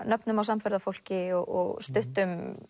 nöfnum á samferðafólki og stuttum